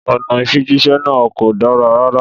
Ọ̀nà ìfijíṣẹ́ náà kò dára rárá.